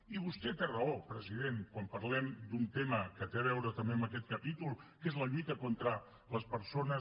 i vostè té raó president quan parlem d’un tema que té a veure també amb aquest capítol que és la lluita contra les persones